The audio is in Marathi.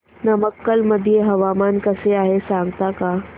नमक्कल मध्ये हवामान कसे आहे सांगता का